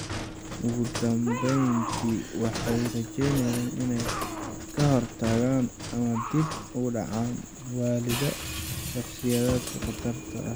Ugu dambeyntii, waxay rajeynayaan inay ka hortagaan ama dib u dhigaan waallida shakhsiyaadkan khatarta sare leh.